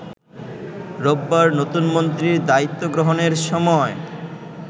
রোববার নতুনমন্ত্রীর দায়িত্ব গ্রহণের সময়